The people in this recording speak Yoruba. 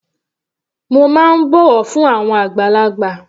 Mo má ń bọ̀wọ̀ fún àwọn àgbàlagbà.